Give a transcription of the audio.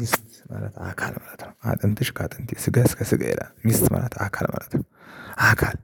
ምስት ማለት አካል ማለት ነው አጥንትሽ ከአጥንቴ ስጋሽ ከ ስጋዬ ይላል ምስት ማለት አካል ማለት ነው። አካል